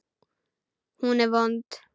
Hún er vond.